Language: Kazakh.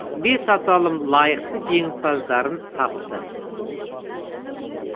бес аталым лайықты жеңімпаздарын тапты